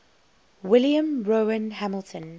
william rowan hamilton